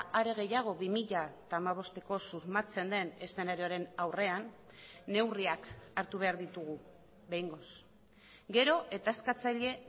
are gehiago bi mila hamabosteko susmatzen den eszenarioaren aurrean neurriak hartu behar ditugu behingoz gero eta eskatzaile